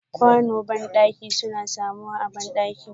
Ƙwano bandaki suna samuwa a bandaki.